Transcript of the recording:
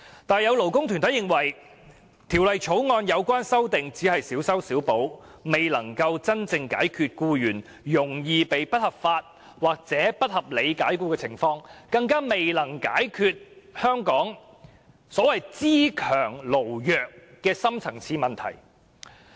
但是，有些勞工團體認為，《條例草案》的有關修訂只是小修小補，未能真正解決僱員容易被不合法或不合理解僱的問題，更未能解決香港"資強勞弱"的深層次問題。